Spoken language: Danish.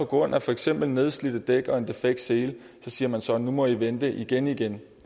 grund af for eksempel nedslidte dæk og en defekt sele siger man så nu må i vente igen igen